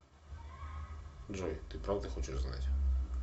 джой ты правда хочешь знать